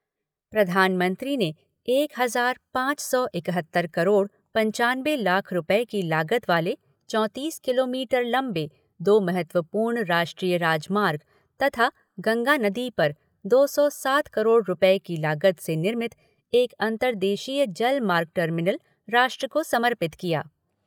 प्रधानमंत्री ने एक हज़ार पाँच सौ इकहत्तर करोड़ पन्चानबे लाख रुपये की लागत वाले चौंतीस किलोमीटर लम्बे दो महत्वपूर्ण राष्ट्रीय राजमार्ग तथा गंगा नदी पर दो सौ सात करोड़ रुपये की लागत से निर्मित एक अंतरदेशीय जल मार्ग टर्मिनल राष्ट्र को समर्पित किया।